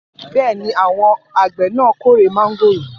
Bẹ́ẹ̀ ni, àwọn àgbẹ̀ náà kórè mángòrò.